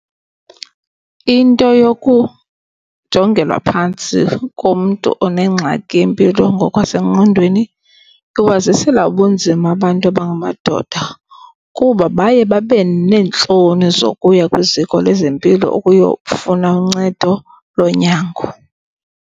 Into yokujongelwa phantsi komntu onengxaki yempilo ngokwasengqondweni iwazisela ubunzima abantu abangamadoda kuba baye babe neentloni zokuya kwiziko lezempilo ukuyofuna uncedo lonyango.